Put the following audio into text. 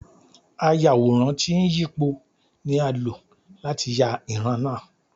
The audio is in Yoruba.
Ayàwòrán tí ń yípo ni a lò láti yà ìran náà.